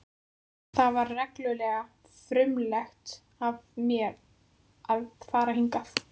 Það var reglulega frumlegt af mér að fara hingað.